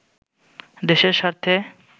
দেশের সার্থে